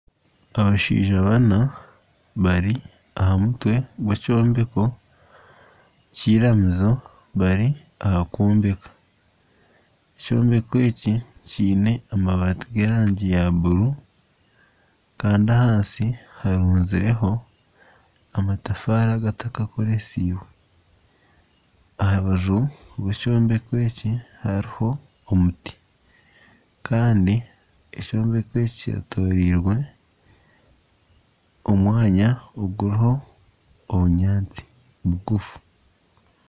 Abashaija baana bari aha mutwe gwekyombeko kiramizo bari aha kwombeka ekyombeko eki kiine amabaati g'erangi ya bururu kandi ahansi harunzireho amatafaari agatakakoresiibwe aha rubaju rw'ekyombeko eki hariho omuti kandi ekyombeko eki kyetoreirwe omwanya oguriho obunyatsi bugufu